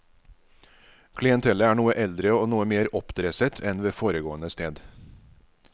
Klientellet er noe eldre og noe mer oppdresset enn ved foregående sted.